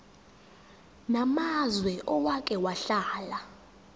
namazwe owake wahlala